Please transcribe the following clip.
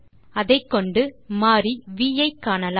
அதைக்கொண்டு நாம் மாறி வி ஐ காணலாம்